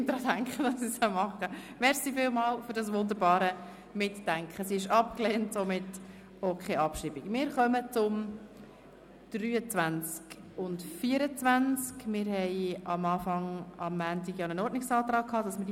Am Montag haben wir einen Ordnungsantrag gutgeheissen, wonach diese beiden Vorstösse gemeinsam zu beraten sind.